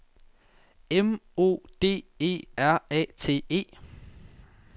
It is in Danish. M O D E R A T E